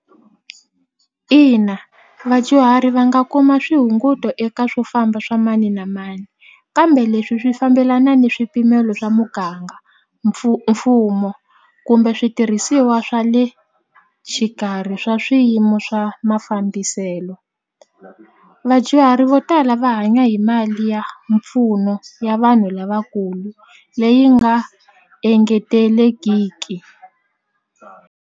Ina vadyuhari va nga kuma swihunguto eka swofamba swa mani na mani kambe leswi swi fambelana ni swipimelo swa muganga mfumo kumbe switirhisiwa swa le xikarhi swa swiyimo swa mafambiselo vadyuhari vo tala va hanya hi mali ya mpfuno ya vanhu lavakulu leyi nga engetelekiki.